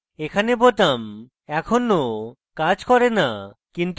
এখানে বোতাম এখনও কাজ করে না